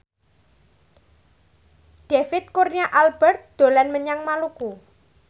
David Kurnia Albert dolan menyang Maluku